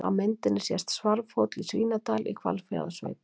Á myndinni sést Svarfhóll í Svínadal í Hvalfjarðarsveit.